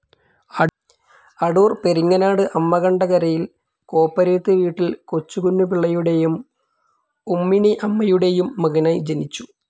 അടൂർ പെരിങ്ങനാട് അമ്മകണ്ട കരയിൽ കോപ്പരേത്ത് വീട്ടിൽ കൊച്ചുകുഞ്ഞു പിള്ളയുടെയും ഉമ്മിണിഅമ്മയുടെയും മകനായി ജനിച്ചു.